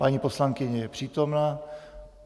Paní poslankyně je přítomna.